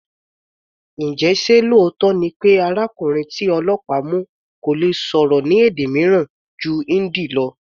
Njẹ ṣé lóòótọ́ ni pé arákùnrin tí ọlọ́pàá mu kò lè sọ̀rọ̀ ní èdè mìíràn ju Hindi lọ?